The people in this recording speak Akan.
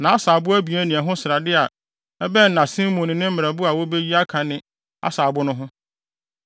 nʼasaabo abien ne ɛho srade a ɛbɛn nʼasen mu ne ne mmerɛbo a wobeyi aka ne asaabo no ho no.